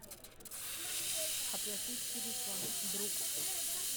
оплатить телефон друг